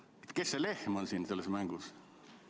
Tunnen huvi, kes see lehm on siin selles mängus?